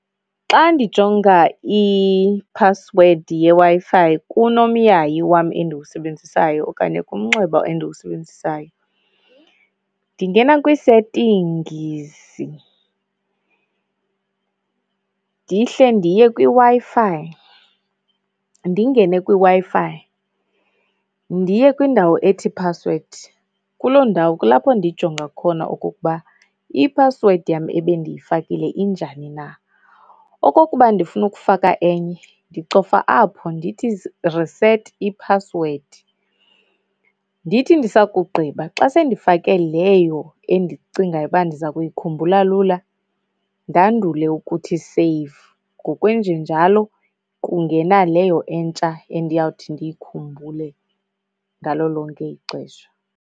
Xa ndijonga iphasiwedi yeWi-Fi kunomyayi wam endiwusebenzisayo okanye kumnxeba endiwusebenzisayo ndingena kwii-settings ndihle ndiye kwiWi-Fi. Ndingene kwiWi-Fi ndiye kwiindawo ethi phasiwedi. Kuloo ndawo kulapho ndijonga khona okukuba phasiwedi yam ebendiyifakile injani na. Okokuba ndifuna ukufaka enye, ndicofa apho ndithi, reset iphasiwedi. Ndithi ndisakugqiba, xa sendifake leyo endicingayo uba ndiza kuyikhumbula lula, ndandule ukuthi save. Ngokwenjenjalo kungena leyo entsha endiyawuthi ndiyikhumbule ngalo lonke ixesha.